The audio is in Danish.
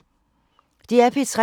DR P3